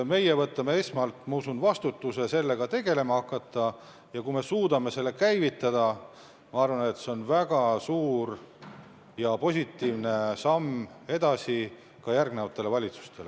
Meie võtame esmalt, ma usun, vastutuse sellega tegelema hakata ja kui me suudame selle käivitada, siis see on minu arvates väga suur ja positiivne samm, mis innustab ka järgmisi valitsusi.